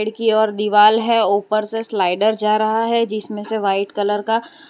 की और दीवाल है ऊपर से स्लाइडर जा रहा है जिसमें से व्हाइट कलर का--